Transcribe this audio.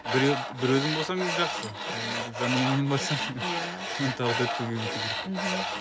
біреу бір өзің болсаң жақсы а жанұяңмен барсаң оны тағы төртке көбейту керек мхм